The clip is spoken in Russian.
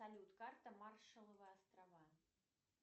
салют карта маршалловы острова